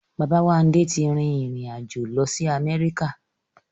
Bàbáwándé ti rí ìrìn-àjò lọ sí Amẹ́ríkà